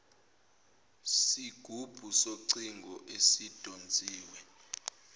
sigubhu socingo esidonsiwe